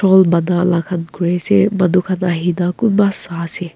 bana la kuri ase manu khan ahina kunba sai ase.